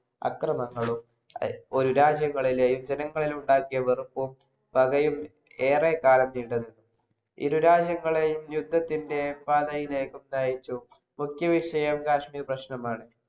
അക്രമങ്ങളും ഒരു രാജ്യങ്ങളിലെയും ജനങ്ങളിലുണ്ടാക്കിയ വെറുപ്പും പകയും ഏറെകാലം നീണ്ടുനിന്നു. ഇരുരാജ്യങ്ങളെയും യുദ്ധത്തിന്‍റെ പാതയിലേക്കും നയിച്ചു. മുഖ്യവിഷയം കാശ്മീർപ്രശ്‌നമാണ്.